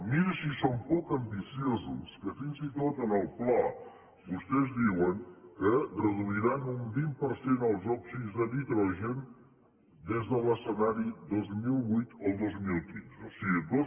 miri si són poc ambiciosos que fins i tot en el pla vostès diuen que reduiran un vint per cent els òxids de nitrogen des de l’escenari dos mil vuit al dos mil quinze o sigui